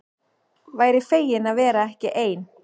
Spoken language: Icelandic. Væri fegin að vera ekki ein.